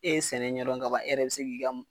E ye sɛnɛ ɲɛ dɔn ka ban, e yɛrɛ be se k'i ka ma